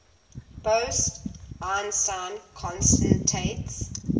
bose einstein condensates